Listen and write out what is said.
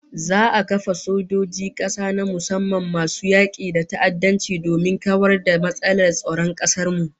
Za'a kafa sojojin kasa na musamman masu yaki da ta'addanci domin kawar da matsalar tsaron kasar mu